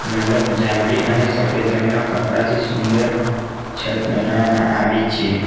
મંડપ જાંબલી અને સફેદ રંગ ના કપડાથી સુંદર છત બનાવવામાં આવી છે.